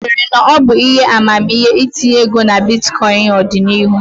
Ị chere na ọ bụ ihe amamihe itinye ego na bitkọịn n'ọdịnihu?